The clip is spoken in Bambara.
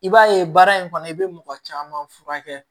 I b'a ye baara in kɔnɔ i bɛ mɔgɔ caman furakɛ